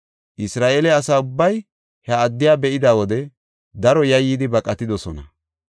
Isra7eele asa ubbay he addiya be7ida wode daro yayyidi baqatidosona.